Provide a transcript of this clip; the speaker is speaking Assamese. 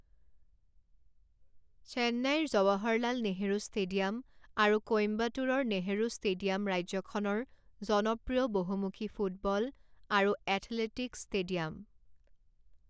চেন্নাইৰ জৱাহৰলাল নেহৰু ষ্টেডিয়াম আৰু কোইম্বাটুৰৰ নেহৰু ষ্টেডিয়াম ৰাজ্যখনৰ জনপ্ৰিয় বহুমুখী ফুটবল আৰু এথলেটিকছ ষ্টেডিয়াম।